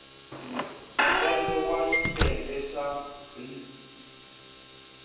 ntsengo wa xiyenge xa b